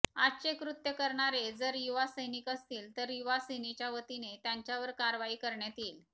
आजचे कृत्य करणारे जर युवासैनिक असतील तर युवासेनेच्या वतीने त्यांच्यावर कारवाई करण्यात येईल